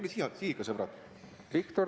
Tulge siia, siia ikka, sõbrad!